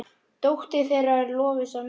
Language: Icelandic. Dóttir þeirra er Lovísa Mekkín.